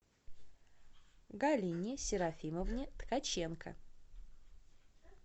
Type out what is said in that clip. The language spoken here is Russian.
галине серафимовне ткаченко